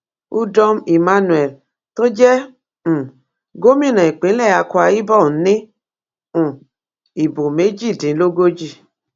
udom emmanuel tó jẹ um gómìnà ìpínlẹ akwa ibom ní um ìbò méjìdínlógójì